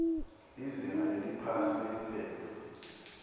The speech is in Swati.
lizinga leliphasi liphepha